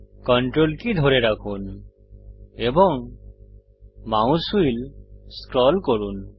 CTRL key ধরে রাখুন এবং মাউস হুইল স্ক্রল করুন